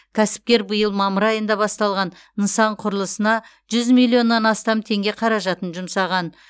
кәсіпкер биыл мамыр айында басталған нысан құрылысына жүз миллионнан астам теңге қаражатын жұмсаған